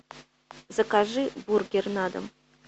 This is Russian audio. закажи бургер на дом